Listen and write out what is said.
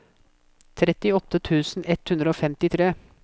trettiåtte tusen ett hundre og femtitre